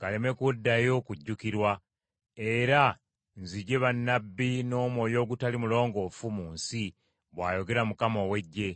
galeme kuddayo kujjukirwa, era nzigye bannabbi n’omwoyo ogutali mulongoofu mu nsi,” bw’ayogera Mukama ow’Eggye.